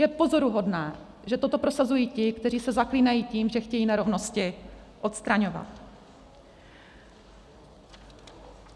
Je pozoruhodné, že toto prosazují ti, kteří se zaklínají tím, že chtějí nerovnosti odstraňovat.